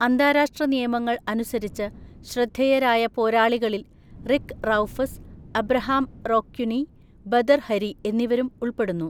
അന്താരാഷ്ട്ര നിയമങ്ങൾ അനുസരിച്ച് ശ്രദ്ധേയരായ പോരാളികളിൽ Rick Roufus, Abraham Roqueni, Badr Hari എന്നിവരും ഉൾപ്പെടുന്നു.